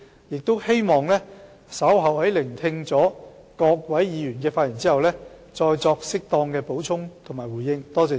我希望稍後在聆聽各位議員的發言後，再作適當的補充和回應。